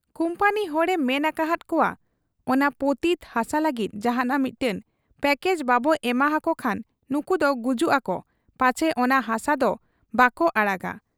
Company ᱦᱚᱲ ᱮ ᱢᱮᱱ ᱟᱠᱟᱦᱟᱫ ᱠᱚᱣᱟ, ᱚᱱᱟ ᱯᱚᱛᱤᱛ ᱦᱟᱥᱟ ᱞᱟᱹᱜᱤᱫ ᱡᱟᱦᱟᱸᱱᱟᱜ ᱢᱤᱫᱴᱟᱹᱝ ᱯᱭᱟᱠᱮᱡᱽ ᱵᱟᱵᱚ ᱮᱢᱟ ᱦᱟᱠᱚ ᱠᱷᱟᱱ ᱱᱩᱠᱩᱫᱚ ᱜᱩᱡᱩᱜ ᱟᱠᱚ ᱯᱟᱪᱷᱮ ᱚᱱᱟ ᱦᱟᱥᱟ ᱫᱚ ᱵᱟᱠᱚ ᱟᱲᱟᱜᱟ ᱾